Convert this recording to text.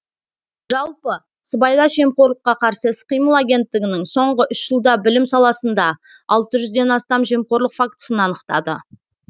жалпы сыбайлас жемқорлыққа қарсы іс қимыл агенттігінің соңғы үш жылда білім саласында алты жүзден астам жемқорлық фактісін анықтады